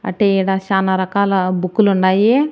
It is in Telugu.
అటే ఈడ చానా రకాల బుక్కులుండాయి .